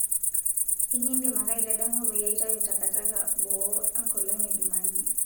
ekidim ake aitadamupeyie aitayu takitaka boo enkolong e jumanne